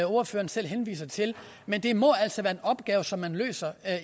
ordføreren selv henviser til men det må altså være en opgave som man løser